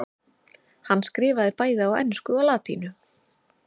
Hann skrifaði bæði á ensku og latínu.